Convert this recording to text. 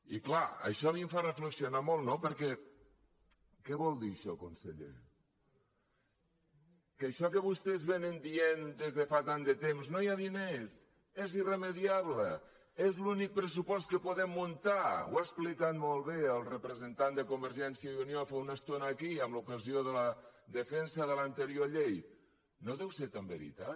i clar això a mi em fa reflexionar molt no perquè què vol dir això conseller que això que vostès diuen des de fa tant de temps no hi ha diners és irremeiable és l’únic pressupost que podem muntar ho ha explicat molt bé el representant de convergència i unió fa una estona aquí en ocasió de la defensa de l’anterior llei no deu ser tan veritat